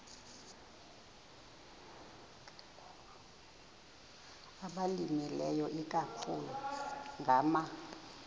abalimileyo ikakhulu ngama